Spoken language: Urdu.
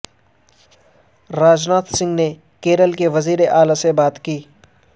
راج ناتھ سنگھ نے کیرل کے وزیر اعلی سے بات کی